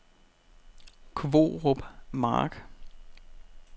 Kvorup Mark